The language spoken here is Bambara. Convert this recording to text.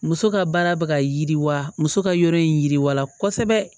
Muso ka baara bɛ ka yiriwa muso ka yɔrɔ in yiriwala kosɛbɛ